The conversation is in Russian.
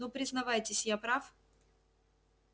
ну признавайтесь я прав